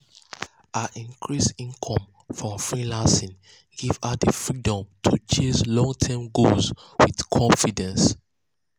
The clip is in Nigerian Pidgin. her increased income from freelancing give her di um freedom to chase long-term goals with confidence.